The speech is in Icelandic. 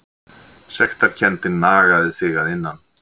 Sektarkenndin nagaði þig að innan.